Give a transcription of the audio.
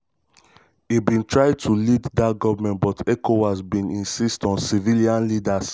e bin try to lead dat govment but ecowas bin insist on civilian on civilian leader.